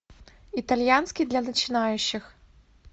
итальянский для начинающих